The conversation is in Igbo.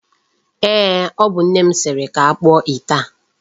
Eeh, o bu nne m siri ka akpụọ ite a.